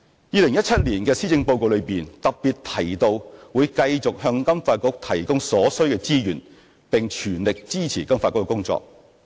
2017年施政報告特別提到會繼續向金發局提供所需資源，並全力支持金發局的工作。